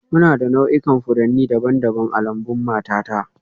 Muna da nau'ikan furanni daban-daban a lambun matata